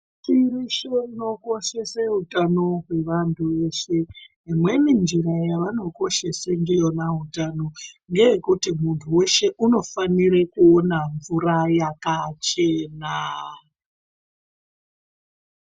Nyika inokoshese kuti munhtu weshe unofanira kuve neutano hwakanaka. Imweni njira yavanokoshesa ndiyona utano ngeyekuti munthu weshe unofanira kuona mvura yakachena.